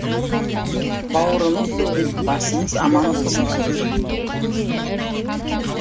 бауырымыз бүтін басымыз аман болсын